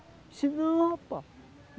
Disse não, rapá.